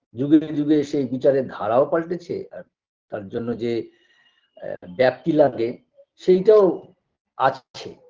যুগে যুগে সেই বিচারের ধারাও পালটেছে আর তার জন্য যে অ্যা ব্যাপ্তি লাগে সেইটাও আসছে